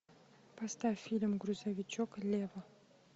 поставь фильм грузовичок лева